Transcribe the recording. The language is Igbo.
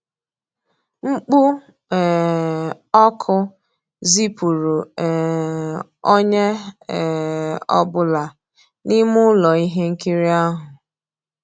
Mkpú um ọ́kụ́ zìpùrụ́ um ónyé um ọ́ bụ́là n'ímé ụ́lọ́ íhé nkírí ahụ́.